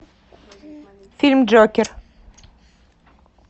фильм джокер